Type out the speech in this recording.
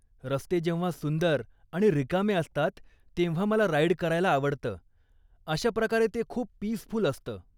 रस्ते जेव्हा सुंदर आणि रिकामे असतात, तेव्हा मला राईड करायला आवडतं, अशा प्रकारे ते खूप पीसफूल असतं.